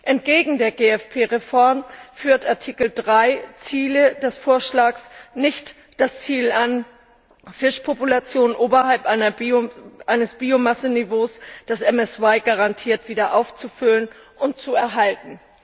Entgegen der GFP Reform führt Artikel 3 Ziele des Vorschlags nicht das Ziel an, die Fischpopulation oberhalb eines Biomasseniveaus, das den MSY garantiert, wieder aufzufüllen und zu erhalten.